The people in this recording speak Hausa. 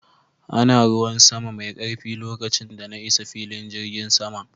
Ana ruwan sama mai karfi lokacin da na isa filin jirgin sama